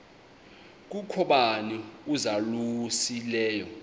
kukho bani uzalusileyo